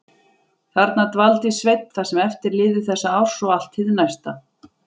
Þarna dvaldi Sveinn það sem eftir lifði þessa árs og allt hið næsta.